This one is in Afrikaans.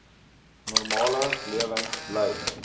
normale lewens lei